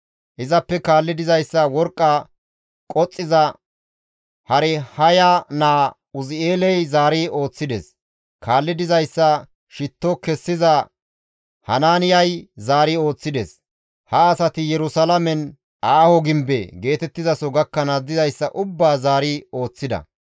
Izappe kaalli dizayssa worqqa qoxxiza Harhaya naa Uzi7eeley zaari ooththides; kaalli dizayssa shitto kessiza Hanaaniyay zaari ooththides; ha asati Yerusalaamen, «Aaho gimbe» geetettizaso gakkanaas dizayssa ubbaa zaari ooththida.